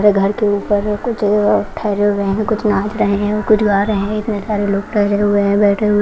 घर के ऊपर अ ठहरे हुए हैं कुछ नाच रहे हैं कुछ गा रहे हैं इतने सारे लोग ठहरे हुए हैं बैठे हुए--